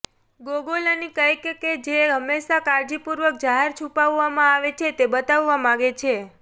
ગોગોલની કંઈક કે જે હંમેશા કાળજીપૂર્વક જાહેર છુપાવવામાં આવે છે તે બતાવવા માગે છે